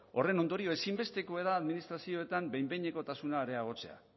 horren ondorio ezinbestekoa da administrazioetan behin behinekotasuna areagotzea